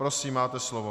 Prosím, máte slovo.